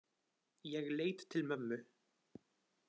Ég leit til mömmu.